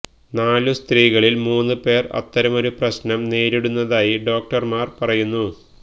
നാലു സ്ത്രീകളിൽ മൂന്നു പേർ അത്തരമൊരു പ്രശ്നം നേരിടുന്നതായി ഡോക്ടർമാർ പറയുന്നു